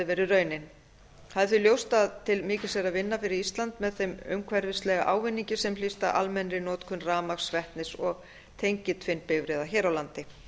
verið raunin það er því ljóst að til mikils er að vinna fyrir ísland með þeim umhverfislega ávinningi sem hlýst af almennri notkun rafmagns vetnis og tengiltvinnbifreiða hér á landi